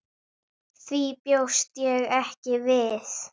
Því bjóst ég ekki við.